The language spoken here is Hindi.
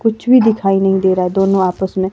कुछ भी दिखाई नहीं दे रहा है दोनों आपस में--